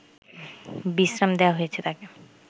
বিশ্রাম দেয়া হয়েছে তাকে